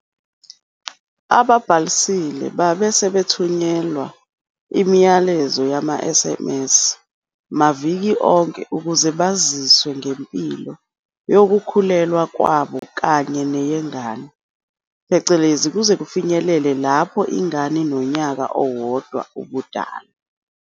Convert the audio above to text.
Ababhalisile babe sebethunyelwa imiyalezo yama-SMS maviki onke ukuze baziswe ngempilo yokukhulelwa kwabo kanye neyengane, kuze kufinyelele lapho ingane inonyaka owodwa ubudala.